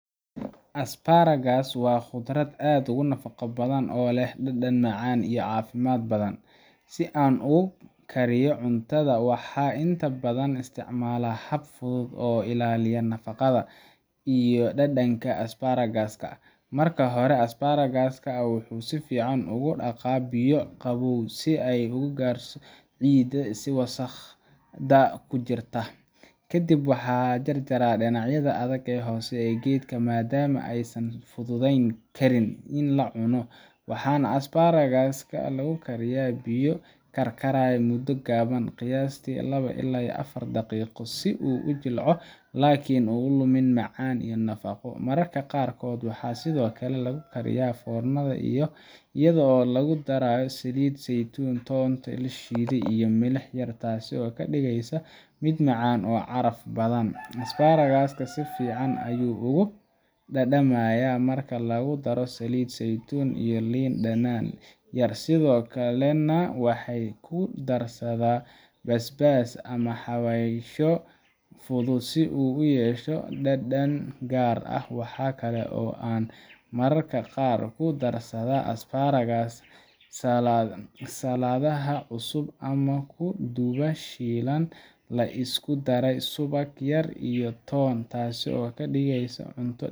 Asparagus waa khudrad aad u nafaqo badan oo leh dhadhan macaan iyo caafimaad badan. Si aan ugu kariyo cuntadayda, waxaan inta badan isticmaalaa hab fudud oo ilaaliya nafaqada iyo dhadhanka Asparagus-ka. Marka hore, Asparagus-ka waxaan si fiican ugu dhaqaa biyo qabow si aan uga saaro ciidda iyo wasakhda ku jirta. Kadib waxaan jarjaraa dhinacyada adag ee hoose ee geedka, maadaama aysan fududayn karin in la cuno. Waxaan Asparagus-ka ku kariyaa biyo karkaraya muddo gaaban, qiyaastii labo ilaa afar daqiiqo, si uu u jilco laakiin aanu lumin macaan iyo nafaqo. Mararka qaarkood waxaan sidoo kale ku kariyaa foornada iyadoo lagu darayo saliid saytuun, toonta la shiiday, iyo milix yar, taasoo ka dhigaysa mid macaan oo caraf badan. Asparagus-ka si fiican ayuu uga dhadhamayaa marka lagu daro saliid saytuun iyo liin dhanaan yar, sidoo kalena waxaan ku darsadaa basbaas ama xawaashyo fudud si uu u yeesho dhadhan gaar ah. Waxaa kale oo aan mararka qaar ku darsadaa Asparagus ka saladaha cusub ama ku dubaa shiilan la isku daray subag yar iyo toon, taas oo ka dhigaysa cunto